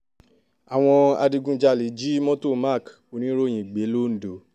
àwọn adigunjalè jí mọ́tò mark oníròyìn gbé londo